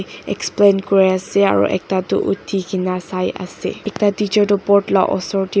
Explain kure ase aro ekta tu uthi kena sai ase ekta teacher tu board la usor te--